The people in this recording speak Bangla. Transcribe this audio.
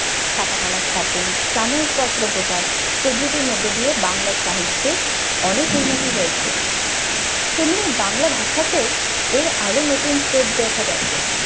ছাপা খানার স্থাপন, সাময়িক পত্র প্রকাশ প্রভৃতির মধ্য দিয়ে বাংলা সাহিত্যের অনেক উন্নতি হয়েছে। তেমনি বাংলা ভাষা তেউ এর আরও নতুন স্রোত দেখা গেছে।